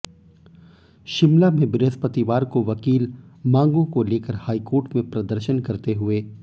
शिमला में बृहस्पतिवार को वकील मांगों को लेकर हाईकोर्ट में प्रदर्शन करते हुए